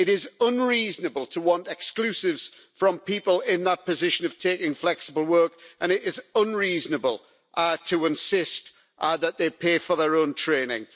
It is unreasonable to want exclusivity from people in that position of taking flexible work and it is unreasonable to insist that they pay for their own training.